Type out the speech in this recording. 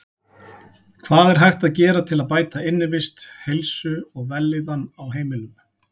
Hvað er hægt að gera til að bæta innivist, heilsu og vellíðan á heimilum?